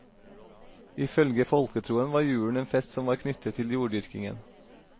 I følge folketroen var julen en fest som var knyttet til jorddyrkingen.